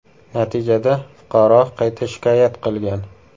Natijada fuqaro qayta shikoyat qilgan.